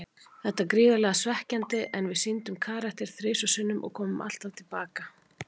Þetta er gríðarlega svekkjandi, en við sýndum karakter þrisvar sinnum og komum alltaf til baka.